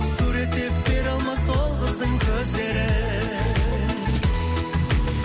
суреттеп бере алмас ол қыздың көздерін